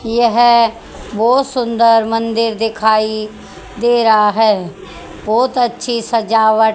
यह बहोत सुंदर मंदिर दिखाइ दे रहा है बहोत अच्छी सजावट--